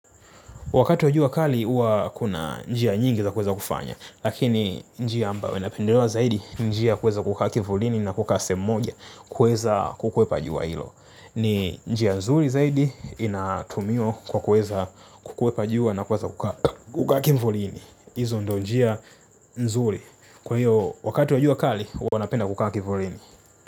Wakati wa jua kali huwa kuna njia nyingi za kuweza kufanya, lakini njia ambao inapendelewa zaidi njia kuweza kukaa kivulini na kukaa sehemu moja kuweza kukwepa jua hilo. Ni njia nzuri zaidi inatumiwa kwa kuweza kukwepa jua na kukaa kivulini. Hizo ndo njia nzuri. Kwa hiyo wakati wa jua kali huwa napenda kukaa kivulini.